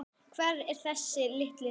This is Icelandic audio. Hver er þessi litli skratti?